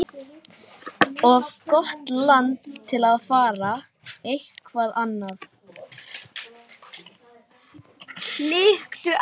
Og velti fyrir mér hvar eigi að byrja.